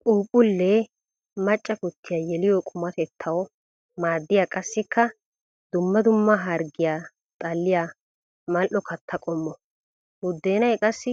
Phuuphphule macca kutiya yeliyo qumatettawu maadiya qassikka dumma dumma harggiya xalliya mali'o katta qommo. Buddeenay qassi